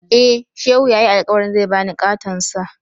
Eh, Shehu ya yi alkawarin zai ba ni ƙaton Sa.